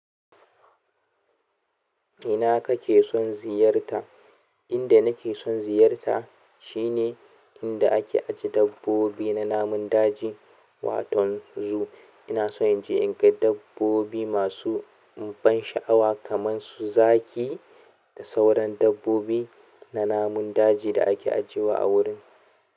Ina kake son ziyarta? Inda nake son ziyarta shine inda ake ajiye dabbobi na namun daji waton zoo. Ina so in je in ga dabbobi masu ban sha'awa kamar su zaki da sauran dabbobi na namun daji da ake ajiyewa a wurin.